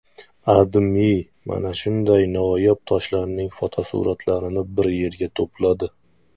AdMe mana shunday noyob toshlarning fotosuratlarini bir yerga to‘pladi .